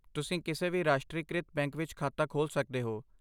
ਤੁਸੀਂ ਕਿਸੇ ਵੀ ਰਾਸ਼ਟਰੀਕ੍ਰਿਤ ਬੈਂਕ ਵਿੱਚ ਖਾਤਾ ਖੋਲ੍ਹ ਸਕਦੇ ਹੋ।